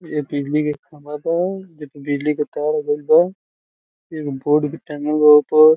इ ए बिजली के खंभा बा जे पे बिजली तार गइल बा एगो बोर्ड भी टांगल बा ओ पर।